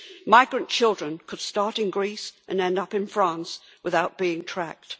Migrant children could start in Greece and end up in France without being tracked.